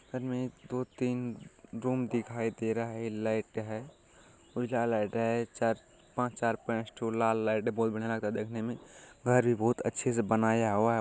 घर में दो-तीन रूम दिखाई दे रहा है लाइट है उजला है चार-पांच चार पे स्टूल लाल लाइट है बहुत बढ़िया लग रहा है देखने में घर भी बहुत अच्छे से बनाया हुआ है।